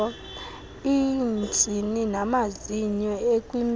iintsini namazinyo ekwimpilo